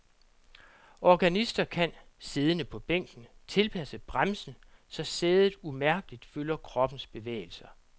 Organister kan, siddende på bænken, tilpasse bremsen, så sædet umærkeligt følger kroppens bevægelser.